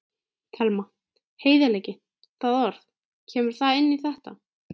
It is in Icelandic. Telma: Heiðarleiki, það orð, kemur það inn í þetta?